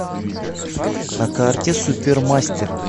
на карте супермастер